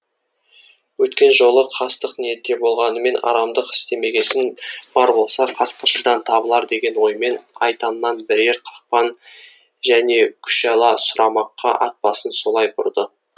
өткен жолы қастық ниетте болғанымен арамдық істемегесін бар болса қасқыршыдан табылар деген оймен айтаннан бірер қақпан және күшала сұрамаққа ат басын солай бұрды